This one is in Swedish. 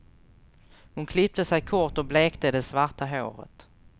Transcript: Hon klippte sig kort och blekte det svarta håret.